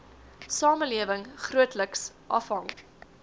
samelewing grootliks afhang